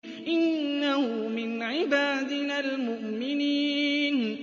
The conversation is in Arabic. إِنَّهُ مِنْ عِبَادِنَا الْمُؤْمِنِينَ